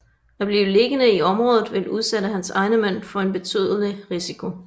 At blive liggende i området ville udsætte hans egne mænd for en betydelig risiko